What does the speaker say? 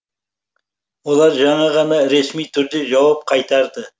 олар жаңа ғана ресми түрде жауап қайтарды